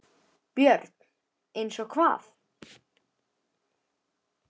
BJÖRN: Eins og hvað?